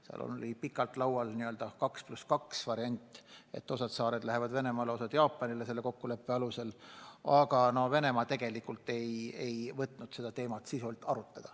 Seal on pikalt laual olnud n-ö 2 + 2 variant, et osa saari läheb Venemaale ja osa Jaapanile, aga Venemaa ei ole seda teemat sisuliselt arutanud.